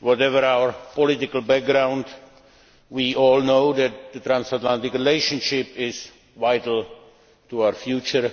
Whatever our political background, we all know that the transatlantic relationship is vital to our future,